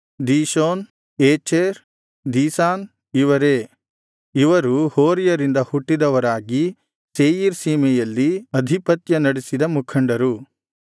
Dishon Ezer Dishan ಇವರೇ ಇವರು ಹೋರಿಯರಿಂದ ಹುಟ್ಟಿದವರಾಗಿ ಸೇಯೀರ್ ಸೀಮೆಯಲ್ಲಿ ಅಧಿಪತ್ಯ ನಡಿಸಿದ ಮುಖಂಡರು